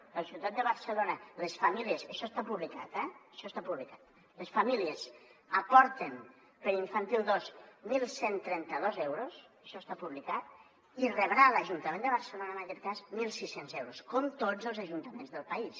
a la ciutat de barcelona això està publicat eh això està publicat les famílies aporten per a infantil dos onze trenta dos euros això està publicat i rebrà l’ajuntament de barcelona en aquest cas mil sis cents euros com tots els ajuntaments del país